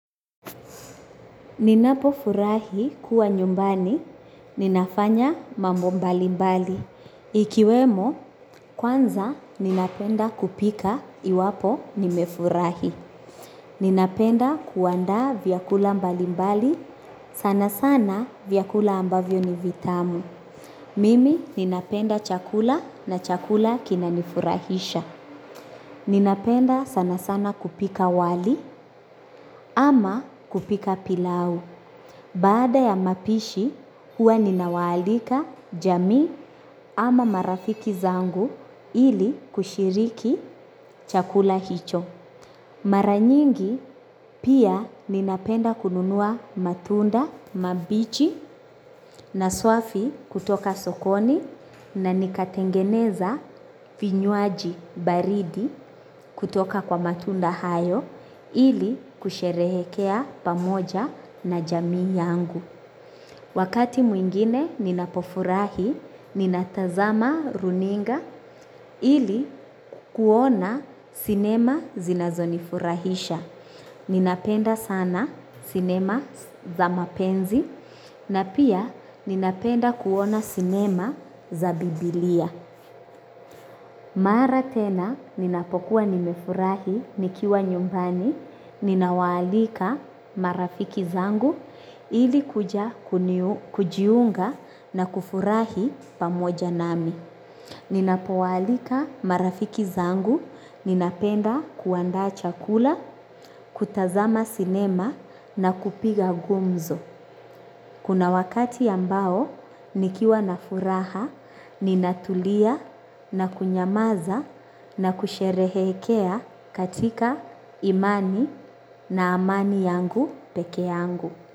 Ninapo furahi kuwa nyumbani, ninafanya mambo mbali mbali. Ikiwemo, kwanza ninapenda kupika iwapo nimefurahi. Ninapenda kuandaa vyakula mbali mbali, sana sana vyakula ambavyo ni vitamu. Mimi ninapenda chakula na chakula kinanifurahisha. Ninapenda sana sana kupika wali ama kupika pilau. Baada ya mapishi huwa ninawaalika jamii ama marafiki zangu ili kushiriki chakula hicho. Mara nyingi pia ninapenda kununua matunda mabichi na swafi kutoka sokoni na nikatengeneza vinywaji baridi kutoka kwa matunda hayo ili kusherehekea pamoja na jamii yangu. Wakati mwingine ninapofurahi, ninatazama runinga ili kuona sinema zinazonifurahisha. Ninapenda sana sinema za mapenzi na pia ninapenda kuona sinema za biblia. Mara tena ninapokuwa nimefurahi nikiwa nyumbani, ninawaalika marafiki zangu ili kuja kujiunga na kufurahi pamoja nami. Ninapowaalika marafiki zangu ninapenda kuandaa chakula, kutazama sinema na kupiga gumzo. Kuna wakati ambao nikiwa na furaha ninatulia na kunyamaza na kusherehekea katika imani na amani yangu peke yangu.